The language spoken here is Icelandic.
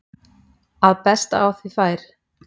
að best á því fer